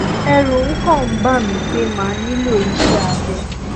ẹrù um kàn ń bà mí pé màá nílò iṣé abẹ